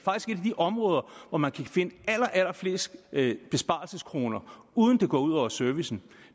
områder hvor man kan finde allerallerflest besparelseskroner uden at det går ud over servicen